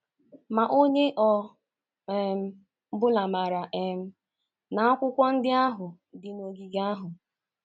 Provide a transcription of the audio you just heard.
Ma onye ọ um bụla maara um na akwụkwọ ndị ahụ dị n’ogige ahụ...